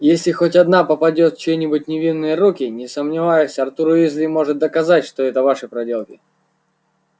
если хоть одна попадёт в чьи-нибудь невинные руки не сомневаюсь артур уизли сможет доказать что это ваши проделки